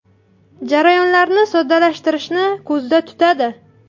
Jarayonlarni soddalashtirishni ko‘zda tutadi.